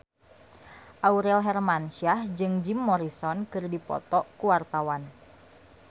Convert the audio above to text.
Aurel Hermansyah jeung Jim Morrison keur dipoto ku wartawan